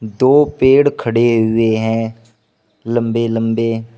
दो पेड़ खड़े हुए है लंबे लंबे--